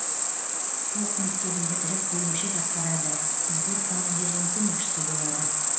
полк мектебін бітіріп бөлімше басқарады взвод командирінің көмекшісі болады